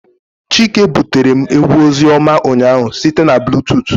Chike butere m egwu ozioma ụnyahụ site na bluetooth